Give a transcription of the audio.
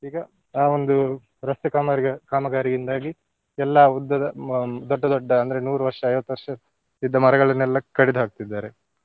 ಈಗ ಆ ಒಂದು ರಸ್ತೆ ಕಾಮಾರ್ಯ~ ಕಾಮಗಾರಿಯಿಂದಾಗಿ ಎಲ್ಲಾ ಉದ್ದದ ಹ್ಮ್ ದೊಡ್ಡ ದೊಡ್ಡ ಅಂದ್ರೆ ನೂರು ವರ್ಷ ಐವತ್ತು ವರ್ಷ ಇದ್ದ ಮರಗಳನ್ನೆಲ್ಲ ಕಡಿದು ಹಾಕ್ತಿದ್ದಾರೆ.